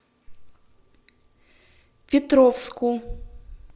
петровску